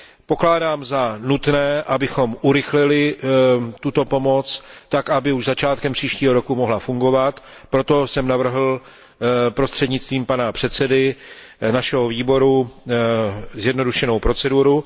Pokládám za nutné, abychom urychlili tuto pomoc tak, aby už začátkem příštího roku mohla fungovat, proto jsem navrhl prostřednictvím pana předsedy našeho výboru zjednodušenou proceduru.